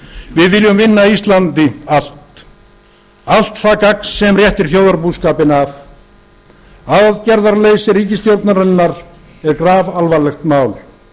við viljum vinna íslandi allt það gagn sem réttir þjóðarbúskapinn af aðgerðaleysi ríkisstjórnarinnar er grafalvarlegt mál